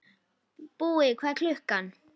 Búi, hvað er klukkan?